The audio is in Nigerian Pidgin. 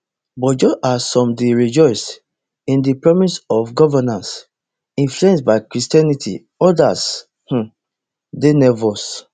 but just as some dey rejoice in di promise of governance influenced by christianity odas um dey nervous